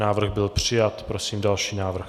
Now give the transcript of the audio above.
Návrh byl přijat. Prosím další návrh.